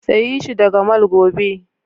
Sayi shi daga mall gobe!